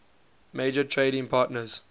major trading partners